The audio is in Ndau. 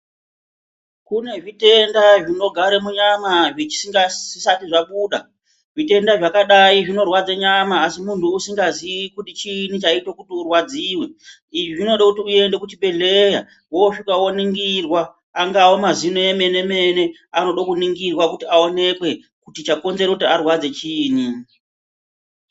Kune zvitenda zvinogare munyama zvisati zvabuda. Zvitenda zvakadayi zvinorwadza nyama asi munhu usingazii kuti chiini chaite kuti urwadziwe. Izvi zvinoda kuti uenda kuchibhedhlera woosvika woningirwa. Angaa mazino emene mene anoda kuningirwa kuti chaite kuti arwadze chiinyi.